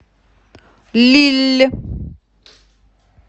лилль